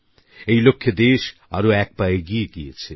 এই লক্ষ্যে দেশ আরো এক পা এগিয়ে গেছে